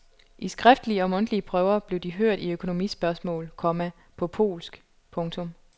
I skriftlige og mundtlige prøver blev de hørt i økonomispørgsmål, komma på polsk. punktum